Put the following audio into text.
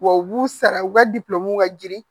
Wa u b'u sara u ka ka girin